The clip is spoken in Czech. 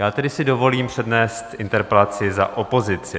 Já tedy si dovolím přednést interpelaci za opozici.